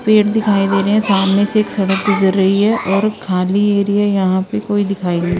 पेड़ दिखाई दे रहे है सामने से एक सड़क गुजर रही है और खाली एरिया यहां पे कोई दिखाई नहीं--